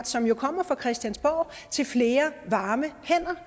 som jo kommer fra christiansborg til flere varme hænder